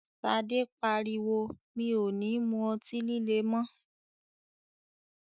Ṣadé pariwo "mi ò ní mú ọtí líle mọ!́".